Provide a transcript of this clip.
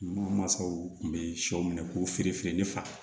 Minnu mansaw tun bɛ shɔ minɛ k'u feere fili fa